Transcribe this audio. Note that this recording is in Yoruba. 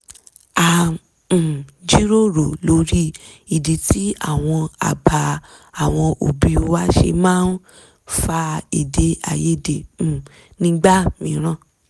a um jíròrò lórí ìdí tí àwọn àbá àwọn òbí wa ṣe máa ń fa èdè àìyedè um nígbà mííràn